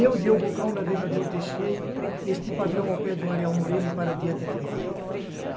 Eu, Diogo Cão, navegador, deixei este padrão ao pé do Ariel Moreno e para diante naveguei.